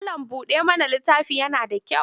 Mallam-buɗa-mana littafi yana da kyau.